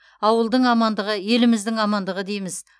ауылдың амандығы еліміздің амандығы дейміз